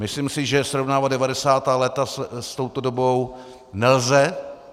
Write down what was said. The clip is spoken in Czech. Myslím si, že srovnávat 90. léta s touto dobou nelze.